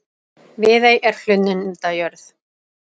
Viðey er hlunnindajörð.